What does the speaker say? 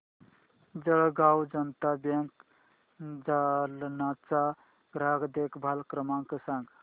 जळगाव जनता बँक जालना चा ग्राहक देखभाल क्रमांक सांग